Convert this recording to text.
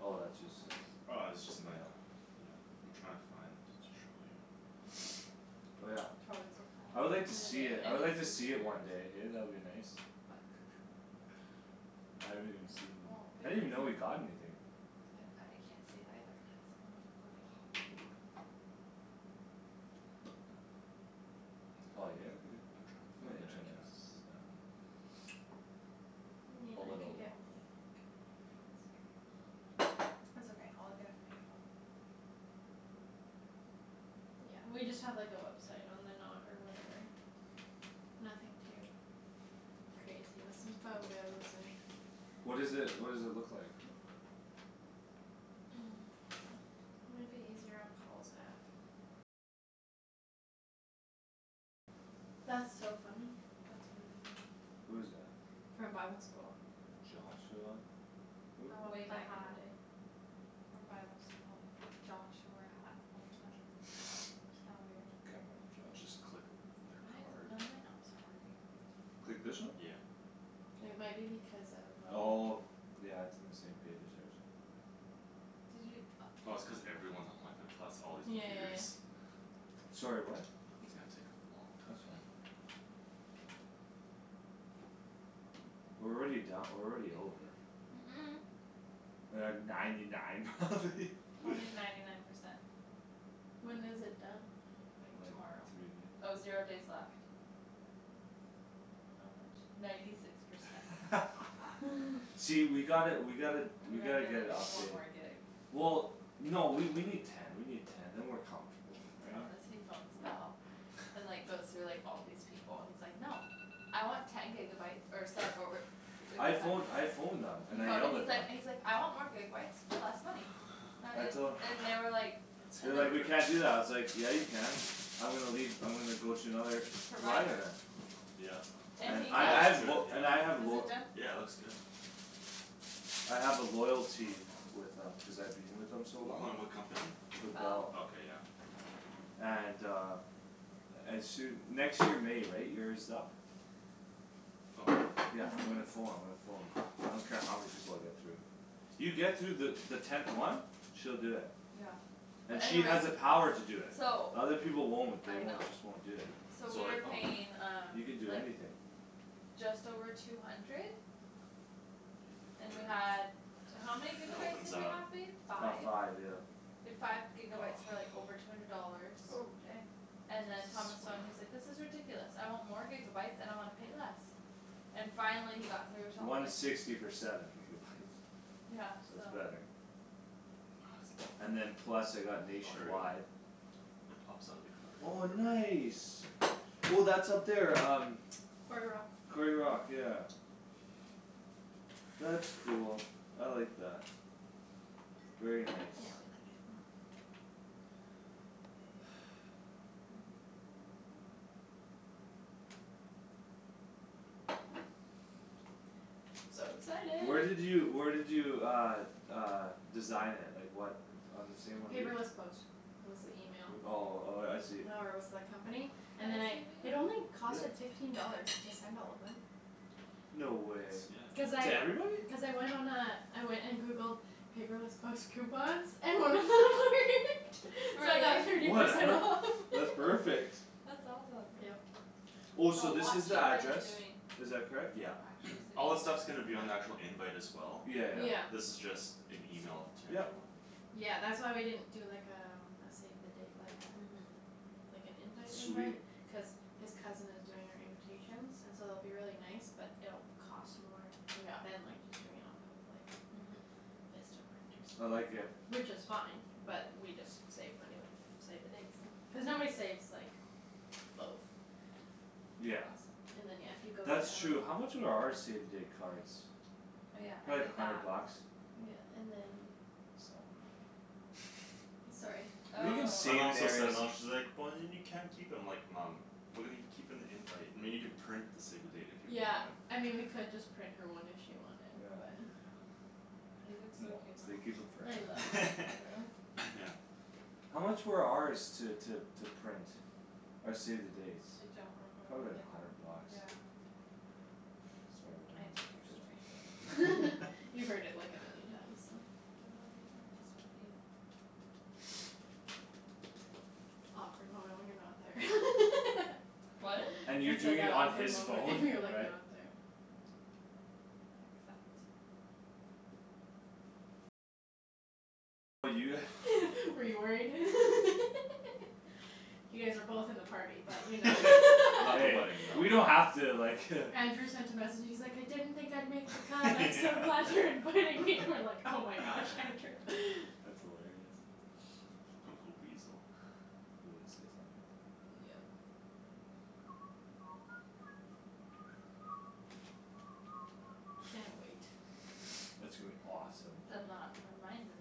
Oh, that's just uh Oh, this is just my mail. Yeah. I'm trying to find to show you. Oh, yeah. Probably the I would like to see Yeah, it, I would and like to his see it computers. one day, hey? That would be nice. What? I haven't even Yeah, seen, well, I babe, didn't even know you it's like got anything. I can't see it either. Not loading. Poop. Paul, are you here, are you I'm trying to here? find The it. I can't internet's down. Hmm, A I little could get water. mine, I think. It's okay, I'll look at it when I get home. Yeah, we just have, like, a website on the Knot or whatever. Nothing too crazy, with some photos and What is it, what does it look like? Might be easier on Paul's app. That's so funny. That's really weird. Who is that? From bible school. Joshua, who? The one Way with the back in hat. the day. From bible school, Josh who wore a hat all the time. It's kinda weird. Can't remember Josh. Just click the Why is it card. none of my apps are working? Click this one? Yeah. It might be because of um Oh. Yeah, it's in the same page as hers. Did you, oh. Oh, it's cuz everyone's on wifi plus all these Yeah, yeah, yeah, computers. yeah. Sorry, what? It's gonna take a long That's fine. time. We're already don- we're already over. Mm- mm. We're at ninety nine probably. Probably ninety nine percent. When is it done? Like Like tomorrow. three Oh, zero days days. left. How much? Ninety six percent. See, we gotta, we gotta, We we gotta gotta get a get, like, one update. more gig. Well, no, we, we need Ten, we need ten, then we're comfortable, right? Honestly phones Bell. And, like, goes through, like, all these people. And he's like, "No!" "I want ten gigabyes or se- or" I phone, I phoned them He and I phoned yelled and he's at them. like, he's like, "I want more gigabyes for less money." That I and, tol- and they were like They And were That's like, like "We can't do epic. that." I was like "Yeah, you can." "I'm gonna leave, I'm gonna go to another" "provider Provider. then." Yep. It, And And he I, that I got looks have good, lo- yeah. and I have Is lo- it done? Yeah, it looks good. I have a loyalty with them cuz I've been with them so long. Hold on, what company? With Bell. Bell. Okay, yeah. And uh As soo- next year May, right? Year's up. Oh. Yeah, I'm gonna pho- I'm gonna phone. I don't care how many people I get through. You get through the, the tenth one. She'll do it. Yeah. And But she has anyways the power to do it. So The other people won't. They I know. won't, just won't do it. So So we like, were oh. paying um You can do like anything. Just over two hundred You hit the And we card. had, how many It gigabytes opens did we up. have, babe? About Five? five, yeah. We had five gigabytes for, like, over two hundred dollars. Oh, dang. And Supposed then Thomas to phoned, he's swipe. like, "This is ridiculous. I want more gigabytes and I wanna pay less." And finally he got through till One it sixty for seven gigabytes. Yeah, So so. it's better. And then It's plus I got Oh, here we go. nationwide It pops out of the card Oh, or whatever. nice. Oh, that's up there um Quarry Rock. Quarry Rock, yeah. That's cool; I like that. Very Yeah, we nice. like it more. So Where excited. did you, where did you uh Uh design it? Like what On the same one we'd Paperless Post was the Like, email. uh, oh, oh, yeah, I see. Or was the company Can and then I I, see, it babe? only cost, Yep. like, fifteen dollars to send all of them. No way. Cuz That's, yeah, good. To I, everybody? cuz I went on a I went and Googled Paperless Post coupons And then it worked. So I got Really? thirty percent Whatever, off. that's perfect. That's awesome. Yep. Oh, That's a so this lot is the cheaper than address? doing Is that correct? Yeah. Actual save All this stuff's the dates. gonna be on the actual invite as well. Yeah. Yeah, yeah. This is just an email to Yep. everyone. Yeah, that's why we didn't do, like, um a save the date, like uh Mhm. Like an invite Sweet. invite cuz His cousin is doing our invitations And so it'll be really nice but it'll cost more Yeah, Than, like, just doing it off of, like, mhm. Vistaprint or I like something. it. Which is fine but we just save money with the Save the dates then, cuz nobody saves, like, both. Yeah. And then, yeah, if you go That's down true. How much were our save the date cards? Oh, yeah, I Probably a did that. hundred bucks. Yeah, and then It's not worth it. Sorry. You can My mom thinks I'm not, she's like, "But then you can't keep 'em." I'm like, "Mom." "We're gonna gi- keep an invite, I mean, you can print the save the date if you Yeah, want." I mean we could just print her one if she wanted but Yeah. Yeah. Moms. They keep 'em I love forever. that photo. Yeah. How much were ours to, to, to print? Our save the dates? I don't re- Probably remember, like a hundred like, bucks. yeah. Sorry, when I it was didn't like hear your fifty story. five or You've heard it like a million times, so. The wedding RSVP. Awkward moment when you're not there. What? And you're I said, doing "That it on awkward his and phone, you're, like, right? not there." Accept. Were you worried? You guys are both in the party but you know Not the Hey, wedding, though. we don't have to like Andrew sent a message; he's like, "I didn't think I'd make the cut. I'm so Yeah. glad you're inviting me!" And I'm like, "Oh my gosh, Andrew." That's hilarious. Little weasel. He would say something like that. Yeah. Yeah. Can't wait. It's gonna be awesome. The Knot reminder.